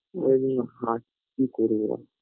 ওই জন্য হাটছি করি আর